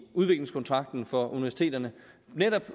udviklingskontrakten for universiteterne netop